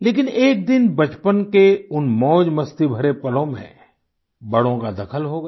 लेकिन एक दिन बचपन के उन मौजमस्ती भरे पलों में बड़ों का दखल हो गया